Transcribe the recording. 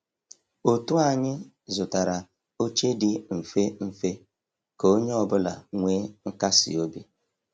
Òtù anyị zụtara oche di mfe mfe ka onye ọ bụla nwee nkasi obi.